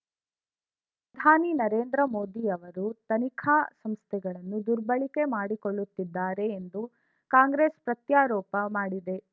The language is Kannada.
ಧಾನಿ ನರೇಂದ್ರ ಮೋದಿ ಅವರು ತನಿಖಾ ಸಂಸ್ಥೆಗಳನ್ನು ದುರ್ಬಳಕೆ ಮಾಡಿಕೊಳ್ಳುತ್ತಿದ್ದಾರೆ ಎಂದು ಕಾಂಗ್ರೆಸ್‌ ಪ್ರತ್ಯಾರೋಪ ಮಾಡಿದೆ